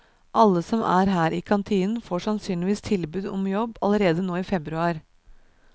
Alle som er her i kantinen får sannsynligvis tilbud om jobb allerede nå i februar.